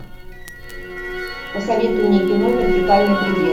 посоветуй мне кино вертикальный предел